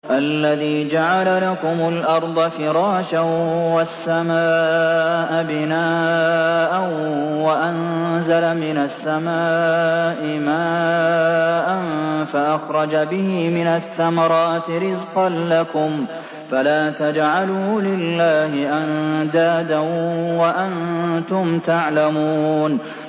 الَّذِي جَعَلَ لَكُمُ الْأَرْضَ فِرَاشًا وَالسَّمَاءَ بِنَاءً وَأَنزَلَ مِنَ السَّمَاءِ مَاءً فَأَخْرَجَ بِهِ مِنَ الثَّمَرَاتِ رِزْقًا لَّكُمْ ۖ فَلَا تَجْعَلُوا لِلَّهِ أَندَادًا وَأَنتُمْ تَعْلَمُونَ